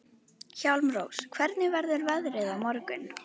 Hjálmrós, hvernig verður veðrið á morgun?